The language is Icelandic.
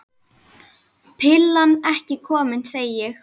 Pillan ekki komin, segi ég.